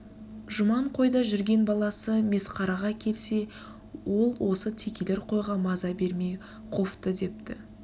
жұман қойда жүрген баласы месқараға келсе ол осы текелер қойға маза бермей қовды депті